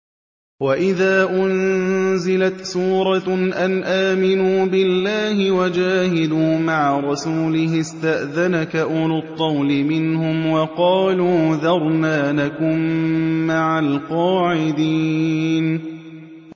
وَإِذَا أُنزِلَتْ سُورَةٌ أَنْ آمِنُوا بِاللَّهِ وَجَاهِدُوا مَعَ رَسُولِهِ اسْتَأْذَنَكَ أُولُو الطَّوْلِ مِنْهُمْ وَقَالُوا ذَرْنَا نَكُن مَّعَ الْقَاعِدِينَ